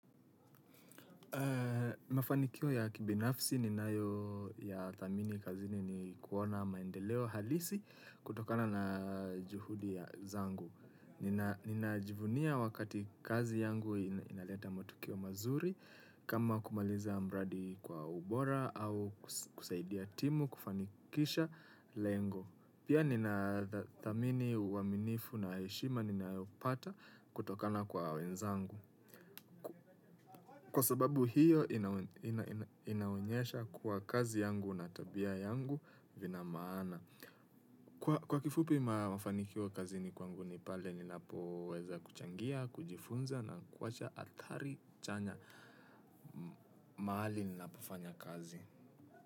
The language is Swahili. Mafanikio ya kibinafsi ninayo y thamini kazini ni kuona maendeleo halisi kutokana na juhudi ya zangu. Nina jivunia wakati kazi yangu inaleta matukio mazuri kama kumaliza mradi kwa ubora au kusaidia timu kufanikisha lengo. Pia nina thamini uaminifu na heshima ninayopata kutokana kwa wenzangu. Kwa sababu hiyo inaonyesha kwa kazi yangu na tabia yangu vina maana. Kwa kifupi mafanikio kazini kwangu ni pale ni napo weza kuchangia, kujifunza na kuwacha athari chanya mahali ninapofanya kazi.